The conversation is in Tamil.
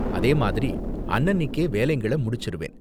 அதேமாதிரி, அன்னன்னிக்கே வேலைங்கள முடிச்சிருவேன்.